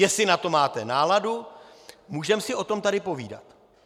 Jestli na to máte náladu, můžeme si o tom tady povídat.